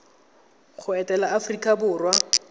go etela mo aforika borwa